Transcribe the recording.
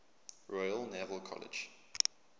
royal naval college